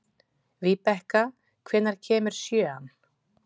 Víbekka, hvenær kemur sjöan?